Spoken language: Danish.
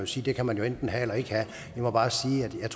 sige kan man jo enten have eller ikke have jeg må bare sige at jeg